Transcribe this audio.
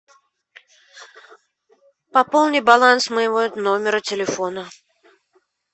пополни баланс моего номера телефона